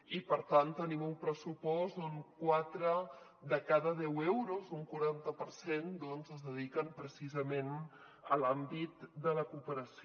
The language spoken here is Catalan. i per tant tenim un pressupost on quatre de cada deu euros un quaranta per cent doncs es dediquen precisament a l’àmbit de la cooperació